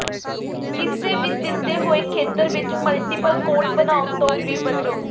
ਕਿਸੇ ਵੀ ਦਿੱਤੇ ਹੋਏ ਖੇਤਰ ਵਿੱਚ ਮਲਟੀਪਲ ਕੋਟ ਬਣਾਉਣ ਤੋਂ ਵੀ ਬਚੋ